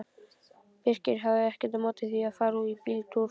Birkir hafði ekkert á móti því að fara í bíltúr.